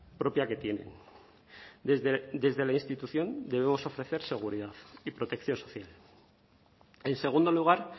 propia que tienen desde la institución debemos ofrecer seguridad y protección social en segundo lugar